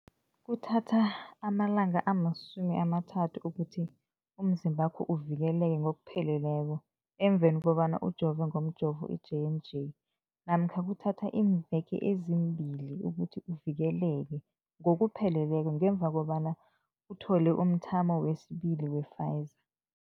Kuthatha amalanga ama-30 ukuthi umzimbakho uvikeleke ngokupheleleko emveni kobana ujove ngomjovo i-J and J namkha kuthatha iimveke ezimbili ukuthi uvikeleke ngokupheleleko ngemva kobana uthole umthamo wesibili wePfizer.